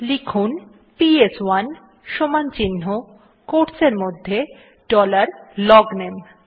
লিখুন পিএস1 সমান চিন্হ quotes এরমধ্যে ডলার লগনামে